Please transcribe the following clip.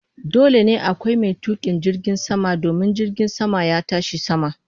Dole ne akwai mai tukin jirgin sama domin jirgin sama ya tashi sama.